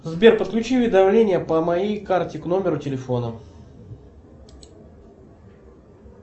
сбер подключи уведомления по моей карте к номеру телефона